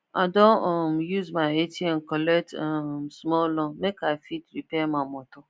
i don um use my atm collect um small loan make i fit repair my motor